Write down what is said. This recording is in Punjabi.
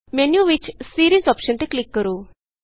ਮੈਨਯੂ ਵਿਚ ਸੀਰੀਜ਼ ਅੋਪਸ਼ਨ ਤੇ ਕਲਿਕ ਕਰੋ